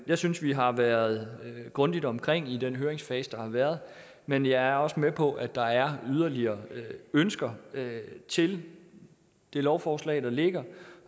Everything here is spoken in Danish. jeg synes vi har været grundigt omkring i den høringsfase der har været men jeg er også med på at der er yderligere ønsker til det lovforslag der ligger